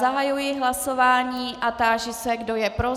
Zahajuji hlasování a táži se, kdo je pro.